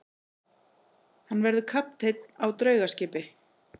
Hann verður kapteinn á draugaskipi.